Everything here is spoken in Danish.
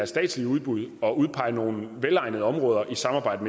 statslige udbud at udpege nogle velegnede områder i samarbejde